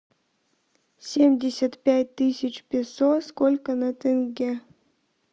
семьдесят пять тысяч песо сколько на тенге